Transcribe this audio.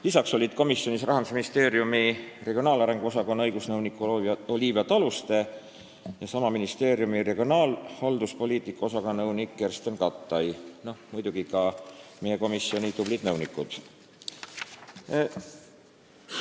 Lisaks olid komisjonis kohal Rahandusministeeriumi regionaalhalduspoliitika osakonna õigusnõunik Olivia Taluste ja nõunik Kersten Kattai, muidugi olid kohal ka meie komisjoni tublid nõunikud.